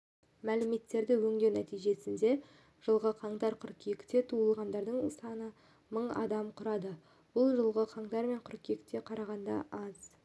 мәліметтерді өңдеу нәтижесінде жылғы қаңтар-қыркүйекте туылғандар саны мың адамды құрады бұл жылғы қаңтар-қыркүйекке қарағанда аз